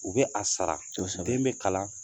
U bɛ a sara, den bɛ kalan